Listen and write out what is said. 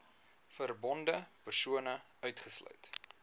verbonde persone uitgesluit